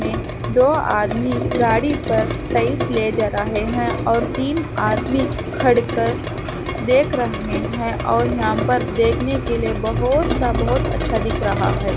में दो आदमी गाड़ी पर टाइल्स ले जा रहे हैं और तीन आदमी खड़े होकर देख रहे हैं और यहाँ पर देखने के लिए बहुत सा बहुत अच्छा दिख रहा है।